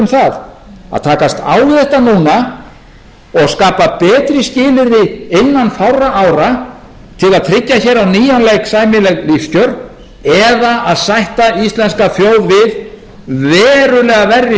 um það að takast á við þetta núna og skapa betri skilyrði innan fárra ára til að tryggja hér á nýjan leik sæmileg lífskjör eða að sætta íslenska þjóð við verulega